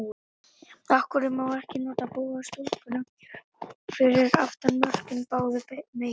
Af hverju má ekki nota boga stúkuna fyrir aftan mörkin báðu megin?